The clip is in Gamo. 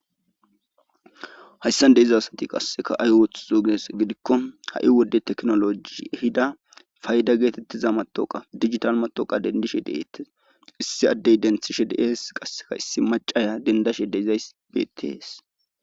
Hayssan diza asati qassekka ay ooththizo giya gidiko ha'i wode tekinoloje paydda geetetiza matawuqqa digital matawuqa dendishe de'eetees. issi adde dentishe de'ees qasikka issi macciya dendashe de'izayssi beetees.